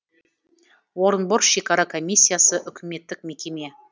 орынбор шекара комиссиясы үкіметтік мекеме